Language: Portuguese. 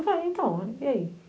Ah então, e aí?